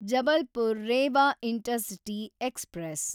Jabalpur Rewa intercity express